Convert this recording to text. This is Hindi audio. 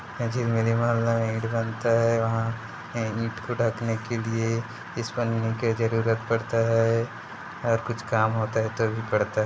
ईट बनता है वहाँ ए ईट को ढँकने के लिये इस पन्नी के जरुरत पड़ता है और कुछ काम होता है तो भी पड़ता--